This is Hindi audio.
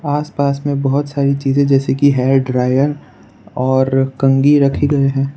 आसपास में बहुत सारी चीज जैसे की हेयर ड्रायर और कंघी रखी गए है।